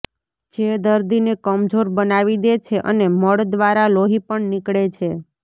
જે દર્દીને કમજોર બનાવી દે છે અને મળ દ્રારા લોહી પણ નીકળે છે